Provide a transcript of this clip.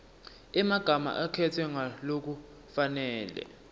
emagama akhetfwe ngalokufanele